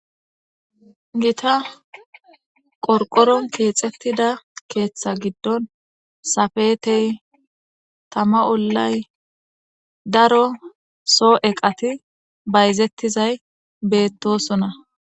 gita qorqoron keexettida keeththa giddon safetey tama ollay daro soo7eqati bayzettizay beettosona